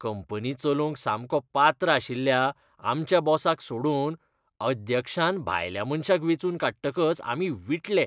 Company चलोवंक सामको पात्र आशिल्ल्या आमच्या बॉसाक सोडून अध्यक्षान भायल्या मनशाक वेंचून काडटकच आमी विटले.